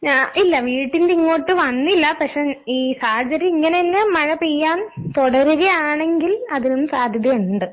ഞാ ഇല്ല വീട്ടിന്റെ ഇങ്ങോട്ട് വന്നില്ലാ പക്ഷെ ഈ സാഹചര്യം ഇങ്ങനെ തന്നെ മഴപെയ്യാൻ തൊടരുകയാണെങ്കിൽ അതിനും സാധ്യതയുണ്ട്.